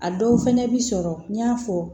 A dɔw fɛnɛ bi sɔrɔ n y'a fɔ